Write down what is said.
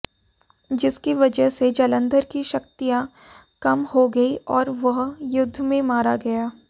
जिसकी वजह से जलंधर की शक्तियां कम हो गई और वह युद्ध में मारा गया